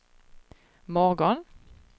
morgon